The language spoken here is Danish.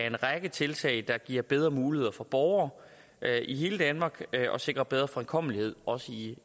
en række tiltag der giver bedre muligheder for borgere i hele danmark og sikrer bedre fremkommelighed også i